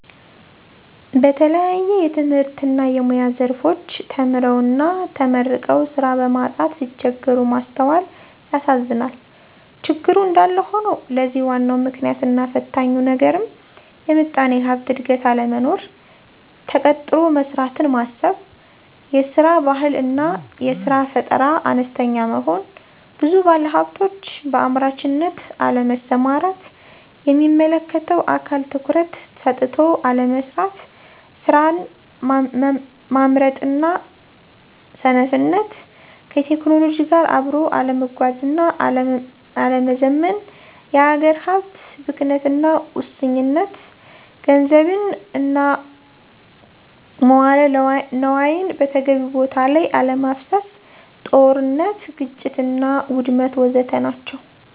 በተለያየ የትምህርትና የሙያ ዘርፎች ተምረውና ተመርቀው ስራ በማጣት ሲቸገሩ ማስተዋላል ያሳዝናል። ችግሩ እንዳለ ሆኖ ለዚህ ዋናው ምክንያትና ፈታኙ ነገርም የምጣኔ ሀብት እድገት አለመኖር፣ ተቀጥሮ መስራትን ማሰብ፤ የስራ ባህል አና የስራ ፈጠራ አነስተኛ መሆን፤ ብዙ ባለሀብቶች በአምራችነት አለመሰማራት፤ የሚመለከተው አካል ትኩረት ሰጥቶ አለመስራት፤ ስራን ማምረጥና ሰነፍነት፣ ከቴክኖሎጂ ጋራ አብኖ አለመጓዝና አለመዘመን፤ የሀገር ሀብት ብክነትና ሙሰኝነት፣ ገንዘብን እና መዋለ ነዋይን በተገቢው ቦታ ለይ አለማፍሰስ፤ ጦርነት፥ ግጭትና ውድመት ወዘተ ናቸው።